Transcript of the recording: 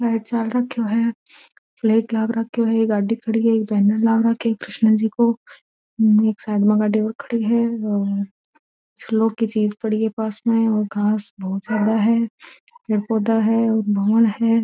लाइट चल रखो है प्लेट लाग रखो है गाड़ी खड़ी रखी है एक बैनर लाग रखो कृष्ण जी को एक साइड मा गाड़ी और खड़ी है और श्लोक की चीज पड़ी है पास में और घास बहुत ज्यादा है पेड़ पौधा है भवन है।